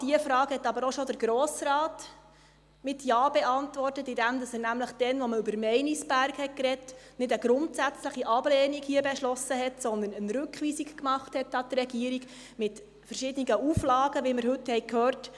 Diese Frage hat aber auch schon der Grosse Rat mit Ja beantwortet, indem er nämlich damals, als man über Meinisberg sprach, hier keine grundsätzliche Ablehnung beschloss, sondern eine Rückweisung an die Regierung machte, mit verschiedenen Auflagen, wie wir heute hören konnten: